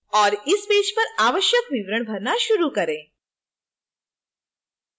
और इस पेज पर आवश्यक विवरण भरना शुरू करें